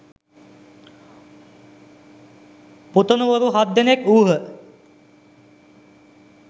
පුතණුවරු හත් දෙනෙක් වූහ.